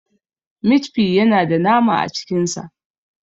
Mit fi yana da nama a cikin sa.